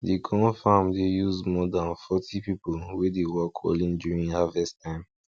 de corn farm dey use more than forty people wey dey work only during harvest time